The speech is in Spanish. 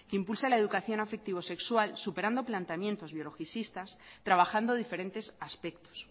impulsa la educación afectivo sexual superando planteamientos biologicistas trabajando diferentes aspectos